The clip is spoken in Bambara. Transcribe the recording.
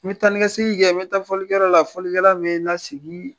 N be taa ni ka segin kɛ . N be taa fɔli kɛ yɔrɔ la, fɔlikɛla be n lasigi